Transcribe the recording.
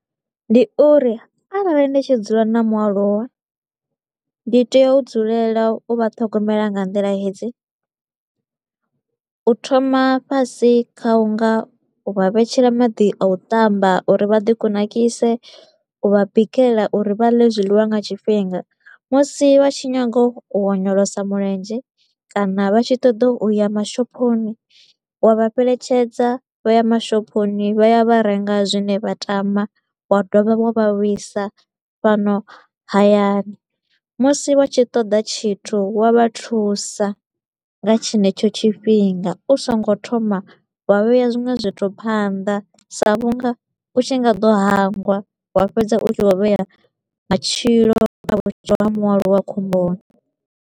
Ndi uri arali ndi tshi dzula na mualuwa ndi tea u dzulela u vha ṱhogomela nga nḓila hedzi. U thoma fhasi kha u nga u vha vhetshela maḓi a u tamba uri vha ḓi kunakise, u vha bikela uri vha ḽe zwiḽiwa nga tshifhinga. Musi vha tshi nyaga u onyolosa mulenzhe kana vha tshi ṱoḓa u ya mashophoni, wa vha fheletshedza vha ya mashophoni vha ya vha renga zwine vha tama, wa dovha wa vha vhuisa fhano hayani. Musi vha tshi ṱoḓa tshithu wa vha thusa nga tshenetsho tshifhinga, u so ngo thoma wa vhea zwinwe zwithu phanḓa sa vhunga u tshi nga ḓo hangwa wa fhedza u tshi vho vhea matshilo a vho mualuwa khomboni.